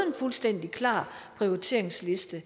en fuldstændig klar prioriteringsliste